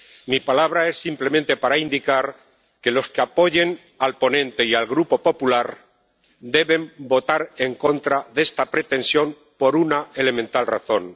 Mi palabra es simplemente para indicar que los que apoyen al ponente y al Grupo Popular deben votar en contra de esta pretensión por una elemental razón.